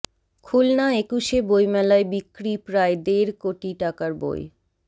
খুলনা একুশে বইমেলায় বিক্রি প্রায় দেড় কোটি টাকার বই